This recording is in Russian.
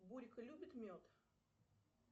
борька любит мед